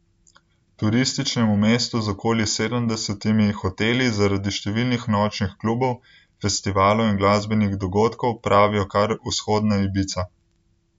Turističnemu mestu z okoli sedemdesetimi hoteli zaradi številnih nočnih klubov, festivalov in glasbenih dogodkov pravijo kar Vzhodna Ibiza.